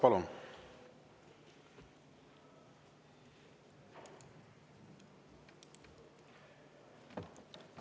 Palun!